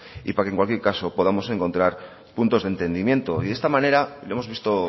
y para que en cualquier caso podamos encontrar puntos de entendimiento y de esta manera lo hemos visto